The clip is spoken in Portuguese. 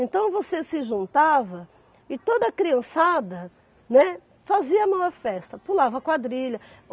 Então você se juntava e toda a criançada, né, fazia uma festa, pulava quadrilha.